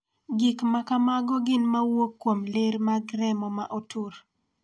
Gik ma kamago gin ma wuok kuom ler mag remo ma otur.